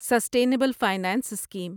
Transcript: sustainable finance scheme